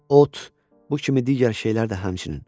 Ot, bu kimi digər şeylər də həmçinin.